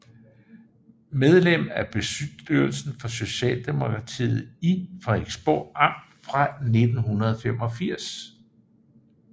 Medlem af bestyrelsen for Socialdemokratiet i Frederiksborg Amt fra 1985